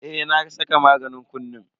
Eh na saka maganin kunnen.